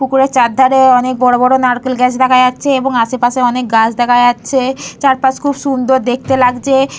পুকুরে চার ধারে অনেক বড় বড় নারকেল গাছ দেখা যাচ্ছে। এবং আশেপাশে অনেক গাছ দেখা যাচ্ছে চারপাশ খুব সুন্দর দেখতে লাগছে --